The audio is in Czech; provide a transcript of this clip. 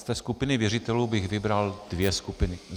Z té skupiny věřitelů bych vybral dvě skupiny.